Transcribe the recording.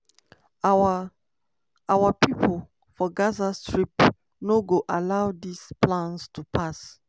"our "our pipo for gaza strip no go allow dis plans to pass.